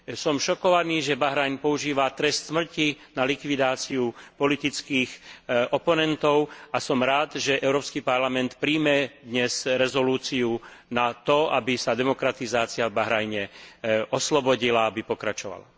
Som šokovaný, že Bahrajn používa trest smrti na likvidáciu politických oponentov a som rád, že Európsky parlament prijme dnes rezolúciu na to, aby sa demokratizácia v Bahrajne oslobodila, aby pokračovala.